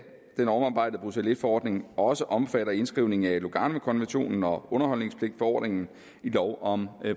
den omarbejdede bruxelles i forordning også omfatter indskrivningen af luganokonventionen og underholdspligtforordningen i lov om